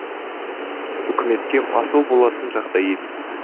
үкіметке масыл болатын жағдай емес